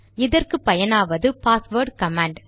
இதற்கு பயனாவது password command